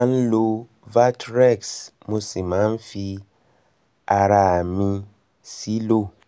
mo máa ń lo valtrex mo sì máa ń fi ara fi ara mi sílò